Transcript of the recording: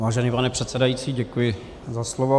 Vážený pane předsedající, děkuji za slovo.